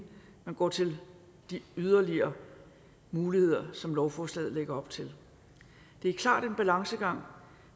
man går til de yderligere muligheder som lovforslaget lægger op til det er klart en balancegang